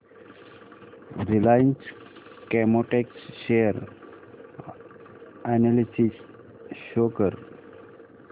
Reliance Chemotex share analysis show कर